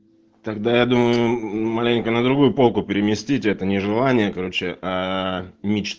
тогда я думаю маленько на другую полку переместить это нежелание короче ээ